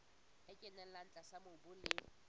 e kenella tlase mobung le